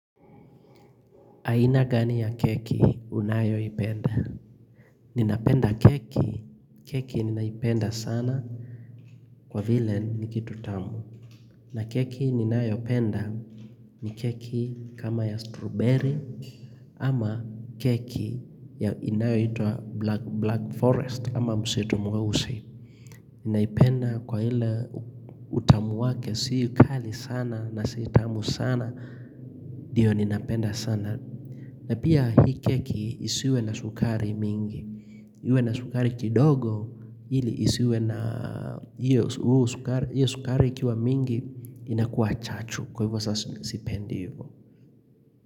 Aina gani ya keki unayoipenda? Ninapenda keki, keki ninaipenda sana kwa vile ni kitu tamu. Na keki ninayopenda ni keki kama ya strawberry ama keki ya inayoitwa black forest ama msitu mweusi. Ninaipenda kwa ile utamu wake si kali sana na si tamu sana, ndio ninapenda sana. Na pia hii keki isiwe na sukari mingi, iwe na sukari kidogo ili isiwe na hiyo sukari ikiwa mingi inakuwa chachu kwa hivyo saa sipendi hivyo.